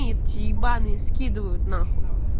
ебанные скидывают н